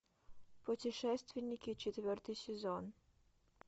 путешественники четвертый сезон